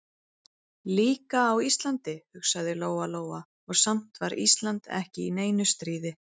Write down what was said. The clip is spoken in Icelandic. Líka á Íslandi, hugsaði Lóa-Lóa, og samt var Ísland ekki í neinu stríði.